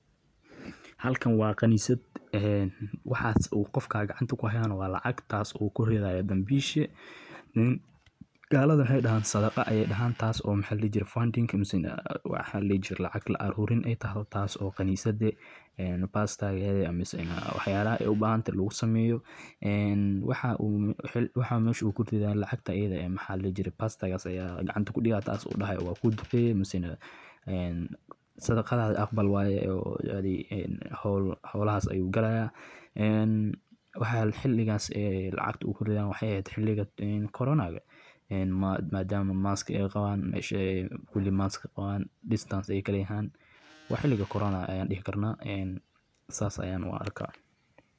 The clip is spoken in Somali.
Adeegga aadanaha waa waajibaad iyo masuuliyad saaran qof kasta oo leh damiir iyo naxariis, waayo marka qofku u adeego dadka kale si daacadnimo leh, dulqaad leh, iyo jacayl dhab ah, wuxuu kor u qaadaa midnimada bulshada, wuxuu naxariis u muujinayaa kuwa tabaaleysan, wuxuu dhisayaa kalsoonida dadka, wuxuuna abuuraa jawi deggan oo wadajir lagu noolaan karo, sidaas darteed, adeegga aan naxariista lahayn wuxuu noqon karaa mid aan wax qiimo ah lahayn.